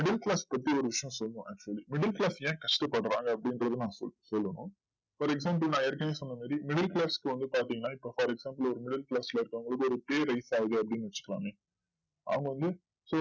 middle class பத்தி ஒரு விஷயம் சொல்லணும் middle class ஏன் கஷ்டப்படுறாங்க அப்டின்றத நா சொல்லணும் for example நா ஏற்கனவே சொன்னமாரி middle class க்கு வந்து பாத்திங்கனா இப்போ for example ஒரு middle class ல இருக்கவங்களுக்கு ஒரு pay raise ஆகுது அப்டின்னு வச்சுக்கலாமே அவங்க வந்து